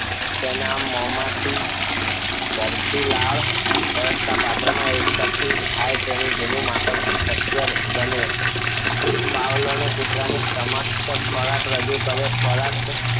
તેના મોંમાંથી જલતી લાળવ્યવસ્થા પાત્રમાં એકઠી થાય તેનું જૂનું માપન શક્ય બને પાવલોણે કૂતરાની સમક્ષ ખોરાક રજુ કર્યો ખોરાક